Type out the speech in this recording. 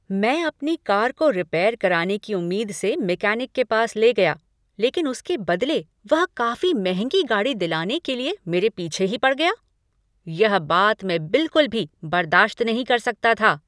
मैं अपनी कार को रिपेयर कराने की उम्मीद से मैकेनिक के पास ले गया, लेकिन उसके बदले वह काफी महंगी गाड़ी दिलाने के लिए मेरे पीछे ही पड़ गया। यह बात मैं बिलकुल भी बर्दाश्त नहीं कर सकता था।